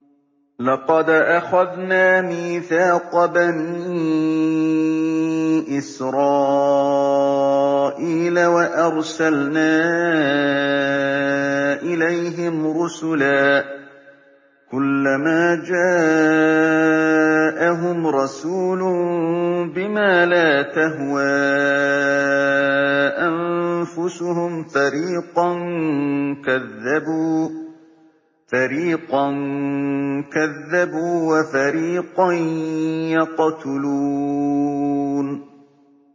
لَقَدْ أَخَذْنَا مِيثَاقَ بَنِي إِسْرَائِيلَ وَأَرْسَلْنَا إِلَيْهِمْ رُسُلًا ۖ كُلَّمَا جَاءَهُمْ رَسُولٌ بِمَا لَا تَهْوَىٰ أَنفُسُهُمْ فَرِيقًا كَذَّبُوا وَفَرِيقًا يَقْتُلُونَ